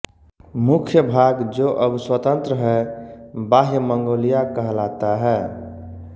मुख्य भाग जो अब स्वतन्त्र है बाह्य मंगोलिया कहलाता है